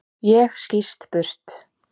Ég skýst burt.